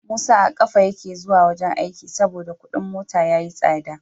Musa a kafa yake zuwa wajan aiki saboda Ƙudin mota yayi tsada